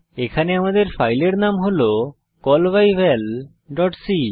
এখানে আমাদের ফাইলের নাম হল callbyvalসি